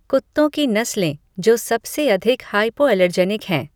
कुत्तों की नस्लें जो सबसे अधिक हाइपोएलर्जेनिक हैं